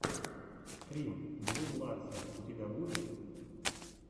стрим блум ларсен у тебя будет